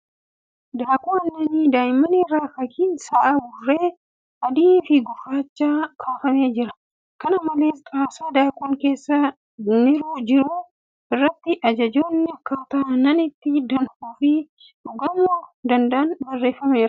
Daakuu aannanii daa'immanii irra fakkiin sa'a burree ( adii fi gurraachaa ) kaafamee jira. Kana malees, Xaasaa daakuun keessa niru irratti ajajoonni akkaataa aannan itti danfuu fi dhugamuu danda'an barreeffameera.